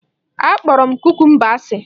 Akpọrọ m kukumba asị